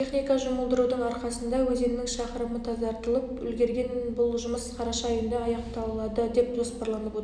техника жұмылдырудың арқасында өзеннің шақырымы тазартылып үлгерген бұл жұмыс қараша айында аяқталады деп жоспарланып отыр